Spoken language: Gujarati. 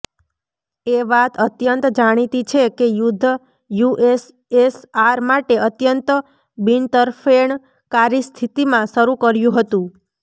એ વાત અત્યંત જાણીતી છે કે યુદ્ધ યુએસએસઆર માટે અત્યંત બિનતરફેણકારી સ્થિતિમાં શરૂ કર્યું હતું